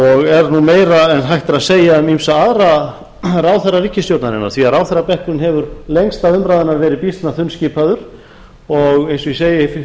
meira en hægt er að segja um ýmsa aðra ráðherra ríkisstjórnarinnar því ráðherrabekkurinn hefur lengst af umræðunnar verið býsna þunnskipaður og eins og ég segi